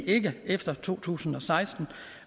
ikke efter to tusind og seksten